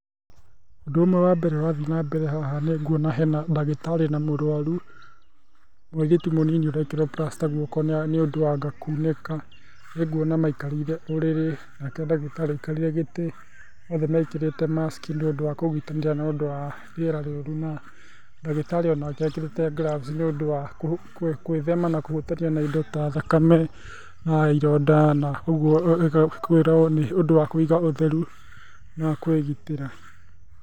Ũndũ ũmwe wambeere ũrathĩĩ na mbere haha nĩngũona hena ndagĩtarĩ na mũrũarũ muĩrĩtũ mũnĩnĩ ũrekĩrwa plaster gũoko nĩ ũndũ wa anga kũũnĩka nĩngũona maaĩkarĩre ũrĩrĩ nake ndagĩtarĩ aaĩkarĩre gĩtĩ othe mekĩrĩte maskĩ nĩ ũndũ wa kũgĩtanĩra nĩ ũndũ wa rĩera rĩũrũ na ndagĩtarĩ onake ĩkĩrĩte gloves nĩ ũndũ wa kwĩthema na kũhũtanĩa na ĩndo ta thakame na ĩronda ũgũo nĩ kwĩrwo ũndũ wa kũiga ũtherũ na kwĩgĩtĩra.